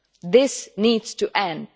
This needs to end.